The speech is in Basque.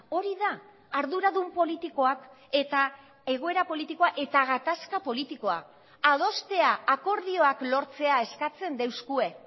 hori da arduradun politikoak eta egoera politikoa eta gatazka politikoa adostea akordioak lortzea eskatzen deuskue